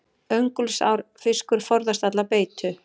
Öngulsár fiskur forðast alla beitu.